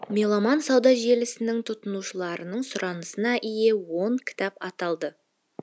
меломан сауда желісінің тұтынушыларының сұранысына ие он кітап аталды